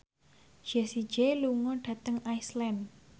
Jessie J lunga dhateng Iceland